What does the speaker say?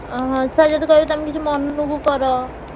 ଓହୋ। sir ଯଦି କହିବେ ତମେ କିଛି ମନକୁ କର।